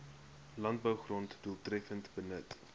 landbougrond doeltreffender benut